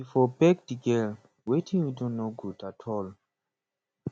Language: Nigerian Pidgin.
you for beg di girl wetin you do no good at all